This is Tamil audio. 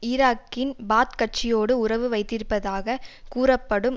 ஈராக்கின் பாத் கட்சியோடு உறவு வைத்திருப்பதாக கூறப்படும்